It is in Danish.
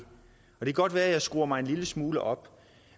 kan godt være at jeg skruer mig en lille smule op